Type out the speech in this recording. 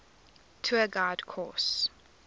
tour guide course